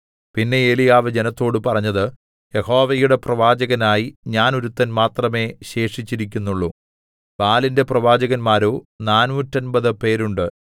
പിന്നെ ഏലീയാവ് ജനത്തോട് പറഞ്ഞത് യഹോവയുടെ പ്രവാചകനായി ഞാൻ ഒരുത്തൻ മാത്രമേ ശേഷിച്ചിരിക്കുന്നുള്ളു ബാലിന്റെ പ്രവാചകന്മാരോ നാനൂറ്റമ്പത് പേരുണ്ട്